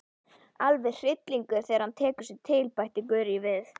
Alveg hryllilegur þegar hann tekur sig til, bætti Gurrý við.